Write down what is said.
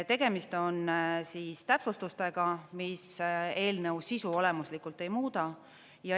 Tegemist on täpsustustega, mis eelnõu sisu olemuslikult ei muuda.